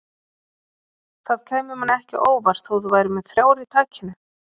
Það kæmi manni ekki á óvart þótt þú værir með þrjár í takinu